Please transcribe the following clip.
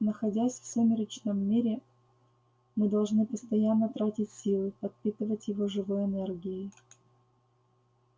находясь в сумеречном мире мы должны постоянно тратить силы подпитывать его живой энергией